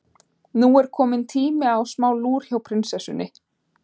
Nú er kominn tími á smá lúr hjá prinsessunni.